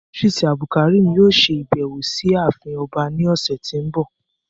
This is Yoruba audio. Idris Abdulkarim yoo ṣe abẹwo si aafin ọba ni ọsẹ ti n bọ